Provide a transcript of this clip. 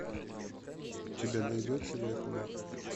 у тебя найдется век мой